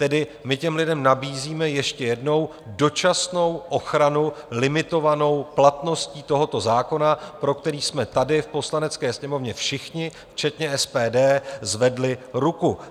Tedy my těm lidem nabízíme - ještě jednou - dočasnou ochranu limitovanou platností tohoto zákona, pro který jsme tady v Poslanecké sněmovně všichni včetně SPD zvedli ruku.